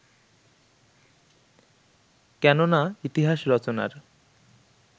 কেননা ইতিহাস রচনার